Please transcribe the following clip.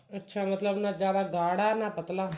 ਅੱਛਾ ਮਤਲਬ ਨਾ ਜਿਆਦਾ ਗਾੜਾ ਨਾ ਪਤਲਾ